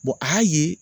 a y'a ye